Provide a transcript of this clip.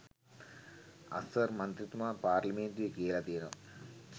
අස්වර් මන්ත්‍රීතුමා පාර්ලිමේන්තුවේ කියලා තියෙනවා